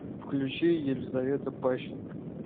включи елизавета пащенко